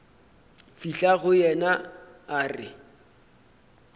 fihla go yena a re